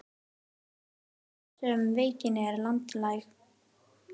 Því er aðeins bólusett þar sem veikin er landlæg.